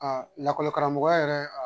lakɔli karamɔgɔya yɛrɛ